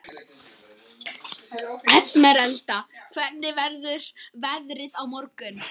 Esmeralda, hvernig verður veðrið á morgun?